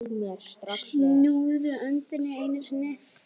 Snúðu öndinni einu sinni.